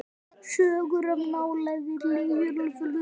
Sögur of nálægt jörðu.